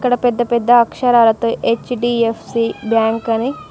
ఇక్కడ పెద్ద పెద్ద అక్షరాలతో హెచ్_డి_యఫ్_సి బ్యాంక్ అని --